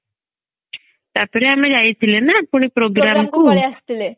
ତାପରେ ଆମେ ଯାଇଥିଲେ ନା ପୁଣି programme କୁ